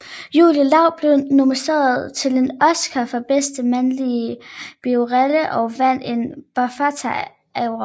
Jude Law blev nomineret til en Oscar for bedste mandlige birolle og vandt en BAFTA Award